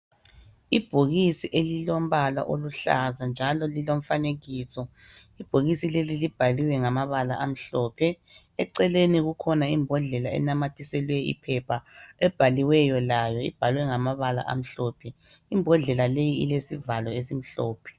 Ibhokisi elilombala oluhlaza njalo lilomfanekiso, ibhokisi leli libhaliwe ngamabala amhlophe, eceleni kukhona imbodlela enanyathiselweyo iphepha ebhaliweyo layo. Ibhalwe ngamabala amhlophe. Imbodlela leyi ilesivalo esimhlophe.